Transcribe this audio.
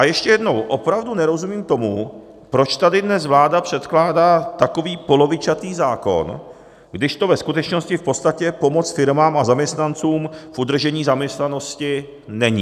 A ještě jednou, opravdu nerozumím tomu, proč tady dnes vláda předkládá takový polovičatý zákon, když to ve skutečnosti v podstatě pomoc firmám a zaměstnancům v udržení zaměstnanosti není.